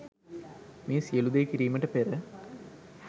මේ සියලූ දේ කිරීමට පෙර